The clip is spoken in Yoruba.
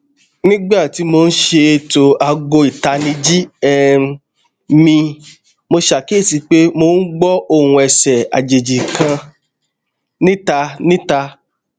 nigba ti mo n ṣeto aago itaniji um mi mo ṣakiyesi pé mò n gbó òhun ẹsẹ àjèjì kan nita nita